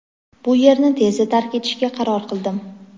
bu yerni tezda tark etishga qaror qildim.